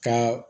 Ka